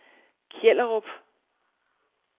Kjellerup